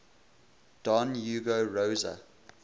don hugo rosa